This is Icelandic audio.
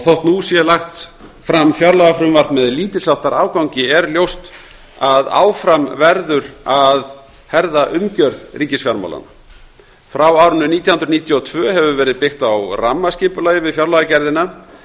þótt nú sé lagt fram fjárlagafrumvarp með lítils háttar afgangi er ljóst að áfram verður að herða umgjörð ríkisfjármálanna frá árinu nítján hundruð níutíu og tvö hefur verið byggt á rammaskipulagi við fjárlagagerðina